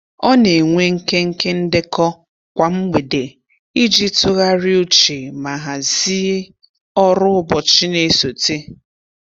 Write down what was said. Ọ na-enwe nkenke ndekọ kwa mgbede iji tụgharị uche ma hazị ọrụ ụbọchị na-esote.